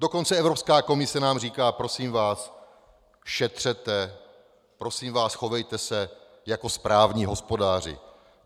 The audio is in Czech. Dokonce Evropská komise nám říká: Prosím vás, šetřete, prosím vás, chovejte se jako správní hospodáři.